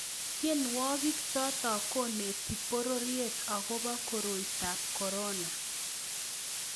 Tienwokik choto koneti pororiet agobo koroitab korona